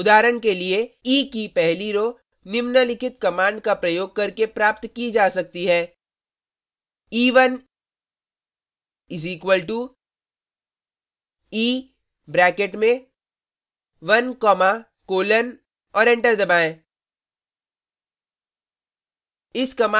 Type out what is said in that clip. उदाहरण के लिए e की पहली रो row निम्नलिखित कमांड का प्रयोग करके प्राप्त की जा सकती है: e1 = e ब्रैकेट में 1 कॉमा कोलन और एंटर दबाएँ